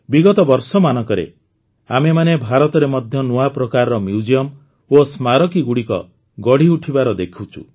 ବିଗତ ବର୍ଷମାନଙ୍କରେ ଆମେମାନେ ଭାରତରେ ମଧ୍ୟ ନୂଆ ପ୍ରକାରର ମ୍ୟୁଜିୟମ ଓ ସ୍ମାରକୀଗୁଡ଼ିକ ଗଢ଼ିଉଠିବାର ଦେଖୁଛୁ